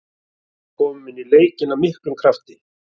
Við komum inn í leikinn af miklum krafti.